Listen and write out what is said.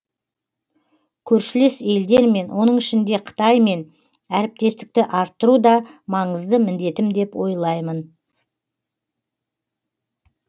көршілес елдермен оның ішінде қытаймен әріптестікті арттыру да маңызды міндетім деп ойлаймын